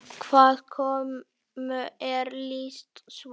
Hvaða konu er lýst svo?